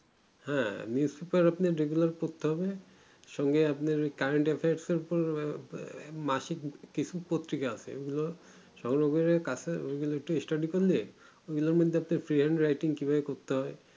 হ্যা musipar আপনাকে regular করতে হবে সঙ্গে আপনার current efferce এর পর মাসিক কিছু পত্রিকা আছে ঐগুলো সবরকম এর কাছে এই গুলো একটু studie করলে এইগুলোর মধ্যে prayer writing কি ভাবে করতে হয়